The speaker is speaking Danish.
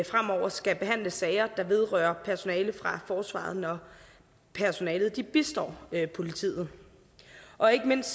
fremover skal behandle sager der vedrører personale fra forsvaret når personalet bistår politiet og ikke mindst